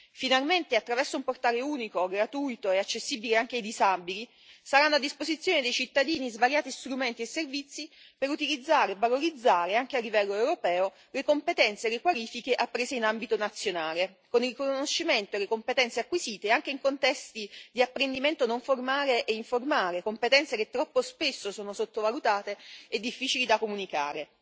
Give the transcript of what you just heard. Finalmente attraverso un portale unico, gratuito e accessibile anche ai disabili, saranno a disposizione dei cittadini svariati strumenti e servizi per utilizzare e valorizzare, anche a livello europeo, le competenze e le qualifiche apprese in ambito nazionale, con il riconoscimento delle competenze acquisite anche in contesti di apprendimento non formale e informale, competenze che troppo spesso sono sottovalutate e difficili da comunicare.